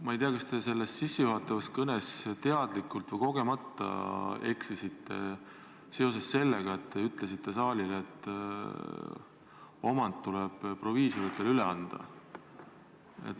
Ma ei tea, kas te oma sissejuhatavas kõnes teadlikult või kogemata eksisite sellega, et te ütlesite saalile, et omand tuleb proviisoritele üle anda.